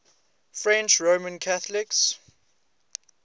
french roman catholics